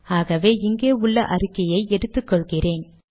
ஆகவே இங்கே உள்ள அறிக்கையை எடுத்துக்கொள்கிறேன்